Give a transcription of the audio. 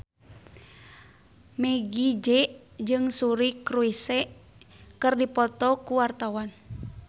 Meggie Z jeung Suri Cruise keur dipoto ku wartawan